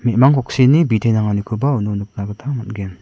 me·mang koksini bite nanganikoba uno nikna gita man·gen.